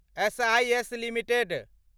SIS limited